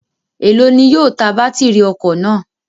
Elo ni yóò ta batiri ọkọ naa?